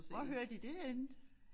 Hvor hørte I det henne?